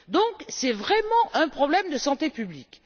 Donc, c'est vraiment un problème de santé publique.